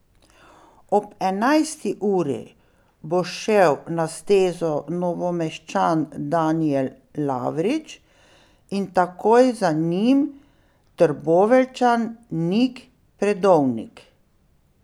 Ob enajsti uri bo šel na stezo Novomeščan Danijel Lavrič in takoj za njim Trboveljčan Nik Predovnik.